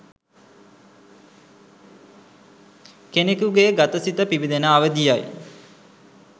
කෙනකුගේ ගත සිත පිබිදෙන අවධිය යි.